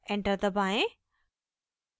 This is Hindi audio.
enter दबाएं